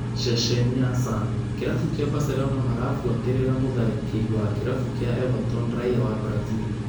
( Ceceni ya Sun)kĩrabu kĩa Barcelona marabuatĩrĩra mũtharĩkĩri wa kĩrabu kĩa Everton raiya wa Brazil